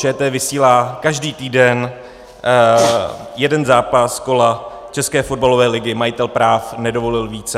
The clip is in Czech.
ČT vysílá každý týden jeden zápas kola České fotbalové ligy, majitel práv nedovolil více.